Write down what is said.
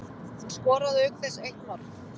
Hún skoraði auk þess eitt mark